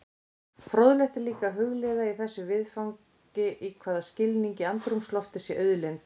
Fróðlegt er líka að hugleiða í þessu viðfangi í hvaða skilningi andrúmsloftið sé auðlind.